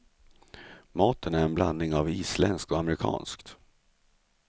Maten är en blandning av isländskt och amerikanskt.